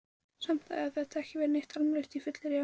Samt hafði þetta ekki verið neitt almennilegt fyllirí á henni.